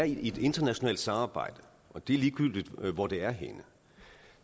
i et internationalt samarbejde og det er ligegyldigt hvor det er henne